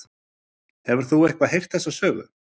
Hefur þú eitthvað heyrt þessa sögu?